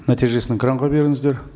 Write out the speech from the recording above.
нәтижесін экранға беріңіздер